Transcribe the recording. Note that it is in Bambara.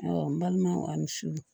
n balimanw ani surun